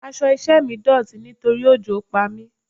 Aṣọ iṣẹ́ mi dọ̀tí nítorí òjò pa mi.